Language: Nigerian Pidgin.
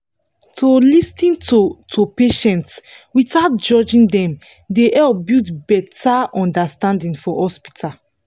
to lis ten to to patients without judging dem dey help build better understanding for hospital